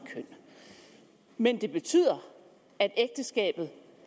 køn men det betyder at ægteskabet